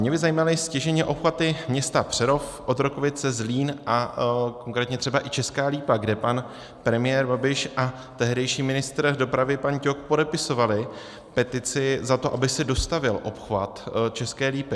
Mě by zajímaly stěžejní obchvaty města Přerov, Otrokovice, Zlín a konkrétně třeba i Česká Lípa, kde pan premiér Babiš a tehdejší ministr dopravy pan Ťok podepisovali petici za to, aby se dostavěl obchvat České Lípy.